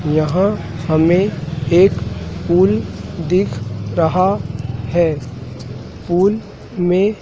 यहां हमें एक पूल दिख रहा है। पूल में --